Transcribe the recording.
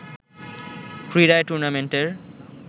ক্রীড়ায় টুর্ণামেন্টের